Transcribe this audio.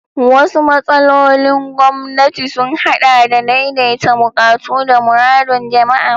Wasu matsalolin gwamnati sun haɗa da daidaita buƙatu da muradun jama'a.